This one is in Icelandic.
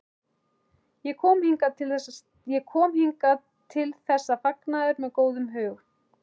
Ég kom hingað til þessa fagnaðar með góðum hug.